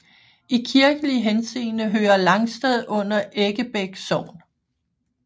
I kirkelig henseende hører Langsted under Eggebæk Sogn